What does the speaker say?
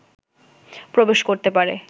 প্রবেশ করতে পারে